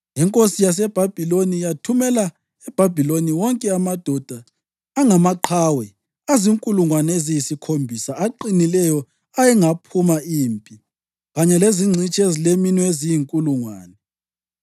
Inkosi yaseBhabhiloni yathumbela eBhabhiloni wonke amadoda angamaqhawe, azinkulungwane eziyisikhombisa, aqinileyo ayengaphuma impi, kanye lezingcitshi ezileminwe eziyinkulungwane.